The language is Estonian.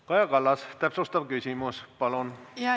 Kaja Kallas, täpsustav küsimus, palun!